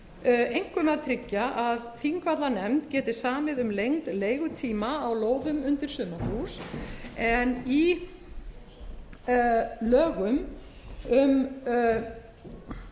einkum að tryggja að þingvallanefnd geti samið um lengd leigutíma á lóðum undir sumarhús en í lögum um